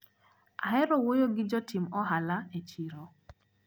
Ahero wuoyo gi jotim ohala e chiro.